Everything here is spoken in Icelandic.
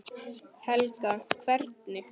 Helga: Hvernig?